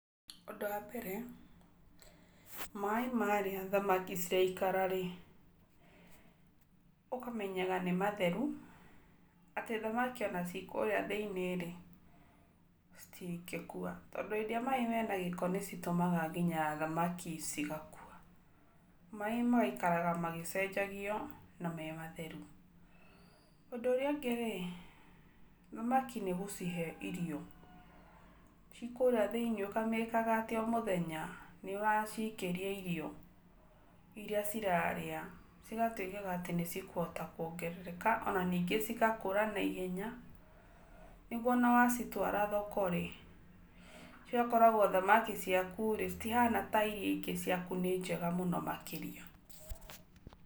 Ũndũ wa mbere, maaĩ marĩa thamaki ciraikara rĩ, ũkamenyaga nĩ matheru atĩ thamaki o na cikũrĩa thĩiniĩ citingĩkua. Tondũ hĩndĩ ĩrĩa maaĩ me na gĩko nĩcitũmaga ngĩnya thamaki cigakua. Maaĩ magaikaraga magĩcenjagio na me matheru. Ũndũ ũrĩa ũngĩ rĩ, thamaki nĩgũcihe irio. Cikurĩa thĩiniĩ ũkamakaga atĩ o mũthenya nĩ ũracikĩria irio, ĩrĩa cirarĩa cigatuĩka atĩ nĩ cikũhota kũongerereka o na ningĩ cigakũra na ihenya nĩguo o na wa citwara thoko rĩ, cigakoragwo thamaki ciaku rĩ citihana ta irĩa ingĩ ciakũ nĩ njega mũno makĩria.